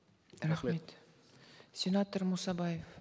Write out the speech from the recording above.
рахмет сенатор мұсабаев